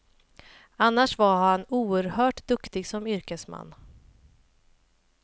Annars var han oerhört duktig som yrkesman.